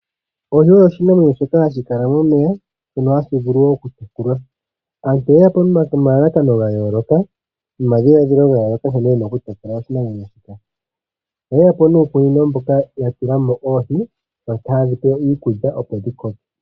Oohi osho oshinamwneyo shoka hashi kala momeya, shoka hashi vulu okutekulwa. Aantu oyeya po nomalalakano gayooloka nomadhiladhilo gayooloka nkene yena okutekula oshinamwenyo shika. Oyeya po nuukunino mbuka yatula mo oohi haye dhipe iikulyaopo dhikoke.